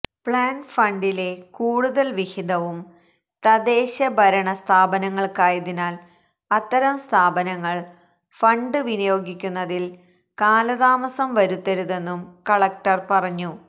plan ഫണ്ടിണ്റ്റെ കൂടുതല് വിഹിതവും തദ്ദേശഭരണ സ്ഥാപനങ്ങള്ക്കായതിനാല് അത്തരം സ്ഥാപനങ്ങള് ഫണ്ട് വിനിയോഗിക്കുന്നതില് കാലതാമസം വരുത്തരുതെന്നും കളക്ടര് പറഞ്ഞു